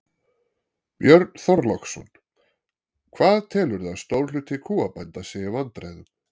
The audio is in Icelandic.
Björn Þorláksson: Hvað telurðu að stór hluti kúabænda sé í vandræðum?